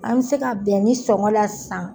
An bɛ se ka bɛn nin sɔngɔn la sisan.